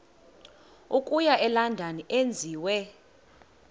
okuya elondon enziwe